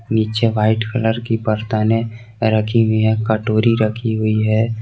नीचे white colour की बरतने रखी हुई है कटोरी रखी हुई है।